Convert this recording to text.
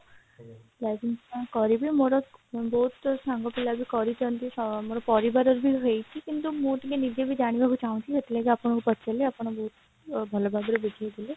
life insurance କରିବି ମୋର ବହୁତ ସାଙ୍ଗ ପିଲା ବି କରିଛନ୍ତି ଅ ମୋର ପରିବାର ରେ ବି ହେଇଛି କିନ୍ତୁ ମୁଁ ନିଜେ ଜାଣିବାକୁ ଚାହୁଁଛି ସେଥିଲାଗି ଆପଣଙ୍କୁ ପଚାରିଲି ଆପଣ ବହୁତ ଭଲ ଭାବରେ ବୁଝେଇଲେ